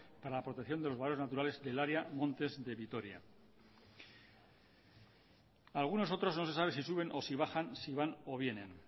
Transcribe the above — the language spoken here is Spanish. para la protección de los valores naturales del área montes de vitoria algunos otros no se sabe si suben o si bajan si van o vienen